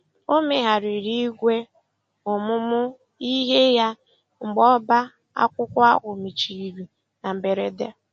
O megharịrị ìgwè ọmụmụ ihe ya mgbe ọbá akwụkwọ ahụ mechiri na mberede.